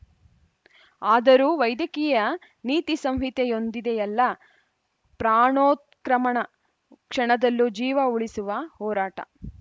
ಆದರೂ ವೈದ್ಯಕೀಯ ನೀತಿಸಂಹಿತೆಯೊಂದಿದೆಯಲ್ಲ ಪ್ರಾಣೋತ್ಕ್ರಮಣ ಕ್ಷಣದಲ್ಲೂ ಜೀವ ಉಳಿಸುವ ಹೋರಾಟ